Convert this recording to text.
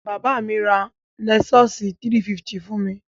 Bàbá mi ra lẹ́sọ́ọ̀sì 350 fún mi.